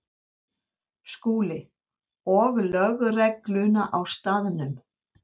SKÚLI: Og lögregluna á staðnum.